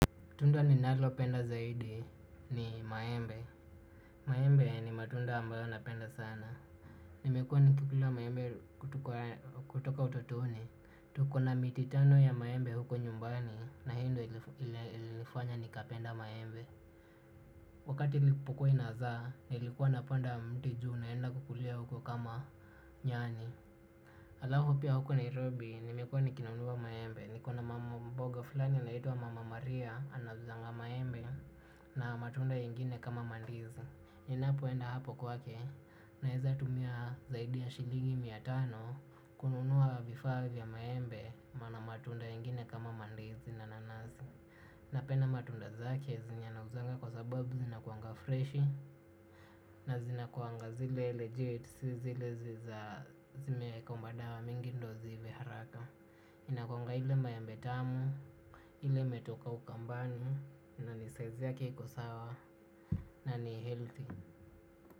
Tunda ninalopenda zaidi ni maembe. Maembe ni matunda ambayo napenda sana. Nimekuwa nikikulua maembe kutoka utotoni. Tukona miti tano ya maembe huko nyumbani na hiyo ndioo ilifanya nikapenda maembe. Wakati ilipokiluwa inazaa nilikuwa napanda mti juu naenda kukulia huko kama nyani. Alafu pia huku nairobi nimekuwa nikinunua maembe. Nikona mama mboga fulani anaitwa mama maria anauzanga maembe na matunda ingine kama mandizi. Ninapoenda hapo kwake naweza tumia zaidi ya shiligi miatano kununua vifaa vya maembe na matunda ingine kama mandizi na nanazi. Napenda matunda zake zenye anauzanga kwa sababu zina kuanga freshi. Na zinakuanga zile legit, si zile zimeweka madawa mingi ndo ziive haraka. Inakuanga ile maembe tamu, ile imetoka ukambani, na ni size yake iko sawa, na ni healthy.